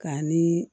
K'a ni